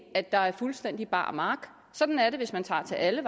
at der er fuldstændig bar mark sådan er det hvis man tager til alle